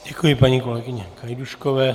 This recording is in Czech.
Děkuji paní kolegyni Gajdůškové.